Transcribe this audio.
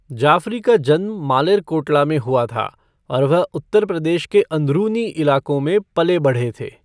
जाफ़री का जन्म मालेरकोटला में हुआ था और वह उत्तर प्रदेश के अंदरूनी इलाकों में पले बढ़े थे।